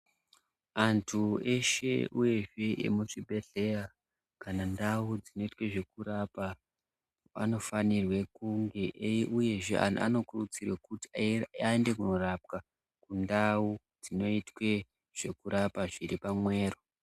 Antu eshe uyezve emuchibhedhleya ,kana ndau dzinoitwe zvekurapa, anofanirwe kunge ei uyezve antu anokurudzirwa kuti aende kundorapwa, kundau dzinoite zvekurapwa zviri pamwero.